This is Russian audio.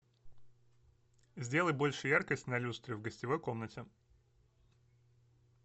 сделай больше яркость на люстре в гостевой комнате